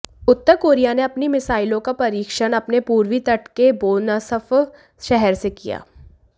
उत्तर Korea ने अपनी मिसाइलों का परीक्षण अपने पूर्वी तट के बोनसफ शहर से किया